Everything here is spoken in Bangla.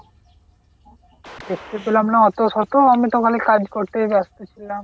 দেখতে পেলাম না এত শত আমি তো খালি কাজ করতেই ব্যাস্ত ছিলাম।